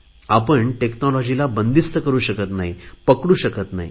आपण टेक्नॉलॉजीला बंदिस्त करु शकत नाही पकडू शकत नाही